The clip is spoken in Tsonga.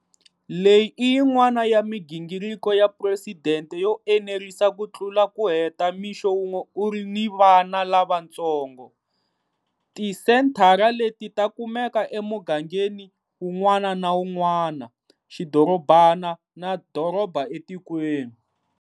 Leyi i yin'wana ya migingiriko ya phuresidente yo enerisa ku tlula ku heta mixo wun'we u ri ni vana lavatsongo. Tisenthara leti ta kumeka emugangeni wun'wana na wun'wana, xidorobana na doroba etikweni.